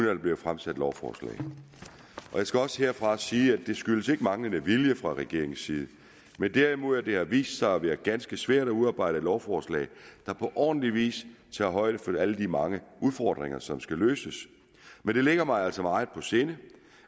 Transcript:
er blevet fremsat lovforslag jeg skal også herfra sige at det ikke skyldes manglende vilje fra regeringens side men derimod at det har vist sig at være ganske svært at udarbejde et lovforslag der på ordentlig vis tager højde for alle de mange udfordringer som skal løses men det ligger mig altså meget på sinde